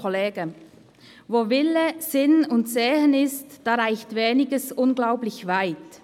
Wo Wille, Sinn und Segen ist, da reicht Weniges unglaublich weit.